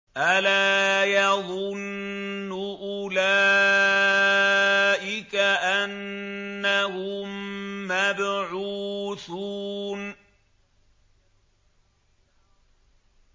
أَلَا يَظُنُّ أُولَٰئِكَ أَنَّهُم مَّبْعُوثُونَ